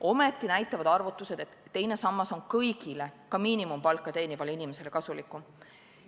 Ometi näitavad arvutused, et teine sammas on kõigile, ka miinimumpalka teenivale inimesele kasulikum.